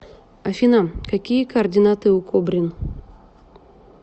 афина какие координаты у кобрин